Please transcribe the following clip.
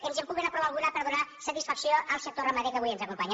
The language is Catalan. ens en puguen aprovar alguna per donar satisfacció al sector ramader que avui ens acompanya